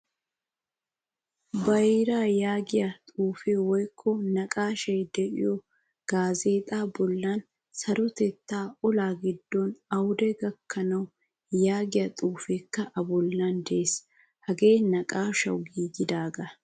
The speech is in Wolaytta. Bayra yaagiyaa xuufe woykko naqqaashshay de'iyo gaazzexa bollan sarotettaa ola giddon awude gakkanawu yaagiyaa xuufekka a bollan de'ees. Hagee naqqaashshawu giigidaga.